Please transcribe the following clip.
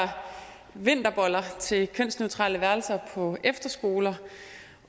vinterboller til kønsneutrale værelser på efterskoler